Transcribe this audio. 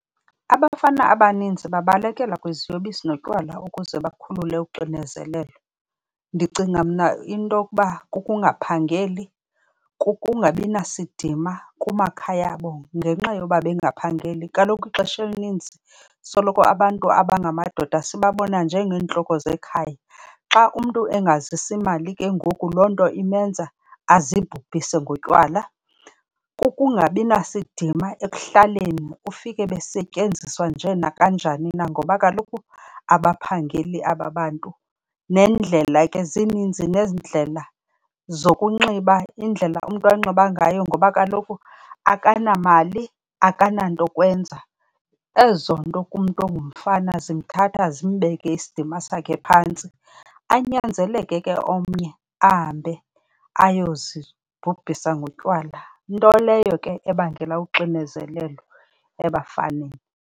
Abafana abaninzi babalekela kwiziyobisi notywala ukuze bakhulule uxinezelelo. Ndicinga mna into yokuba kukungaphangeli, kukungabi nasidima kumakhaya abo ngenxa yoba bengaphangeli. Kaloku ixesha elininzi soloko abantu abangamadoda sibabona njeengentloko zekhaya. Xa umntu engazisi mali ke ngoku, loo nto imenza azibhubhise ngotywala. Kukungabi nasidima ekuhlaleni, ufike besetyenziswa nje nakanjani na ngoba kaloku akaphangeli aba bantu. Nendlela ke, zininzi neendlela zokunxiba, indlela umntu anxiba ngayo ngoba kaloku akanamali, akanantokwenza. Ezo nto kumntu ongumfana zimthatha zimbeke isidima sakhe phantsi, anyanzeleke ke omnye ahambe ayozibhubhisa ngotywala. Nto leyo ke ebangela uxinezelelo ebafaneni.